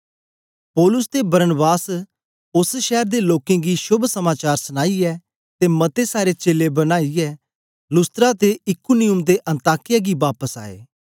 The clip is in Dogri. पौलुस ते बरनाबास ओस शैर दे लोकें गी शोभ समाचार सनाईयै ते मते सारे चेले बनाईयै लुस्त्रा ते इकुनियुम ते अन्ताकिया गी बापस आए